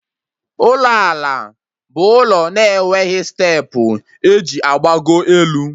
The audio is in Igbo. Ụlọ ala bụ ụlọ na-enweghị steepụ eji agbago elu